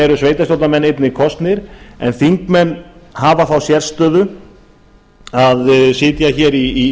eru sveitarstjórnarmenn einnig kosnir en þingmenn hafa þá sérstöðu að sitja hér í